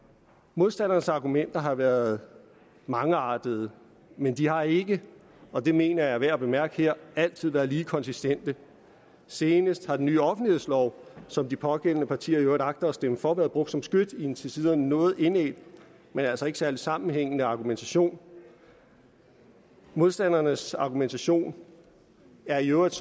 modstandernes argumenter har været mangeartede men de har ikke og det mener jeg er værd at bemærke her altid været lige konsekvente senest har den nye offentlighedslov som de pågældende partier i øvrigt agter at stemme for været brugt som skyts i en til tider noget indædt men altså ikke særlig sammenhængende argumentation modstandernes argumentation er i øvrigt